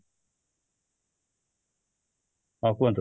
ହଁ କୁହନ୍ତୁ